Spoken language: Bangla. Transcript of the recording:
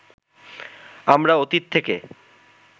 আমরা অতীত থেকে